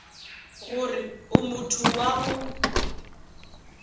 gore o motho wa go